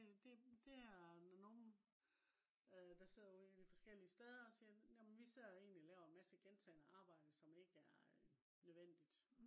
det det er når nogle øh der sidder ude i de forskellige steder siger jamen vi sidder egentlig og laver en masse gentagende arbejde som ikke er øh nødvendigt